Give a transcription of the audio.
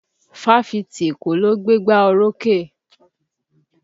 Fáfitì Èkó ló gbé gbá orókè